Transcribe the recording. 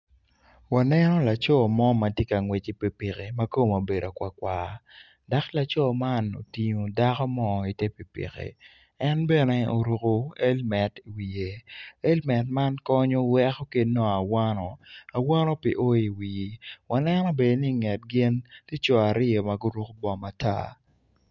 Aneno laco man matye ka ngwec i pikipiki matwonge obedo kwar kwar dok laco man oting dako mo i ter pipiki en bene oruko helmet i wiye elmet man konyo weko ka inong awano, awano pe oo i wii aneno bene ni ki nget gin tye coo aryo maguruko bongo matar.